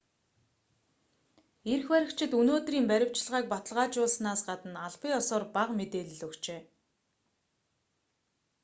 эрх баригчид өнөөдрийн баривчилгааг баталгаажуулсанаас гадна албан ёсоор бага мэдээлэл өгчээ